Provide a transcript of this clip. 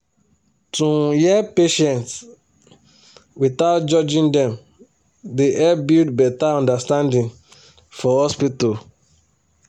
to um hear patients without judging dem dey help build better understanding for hospital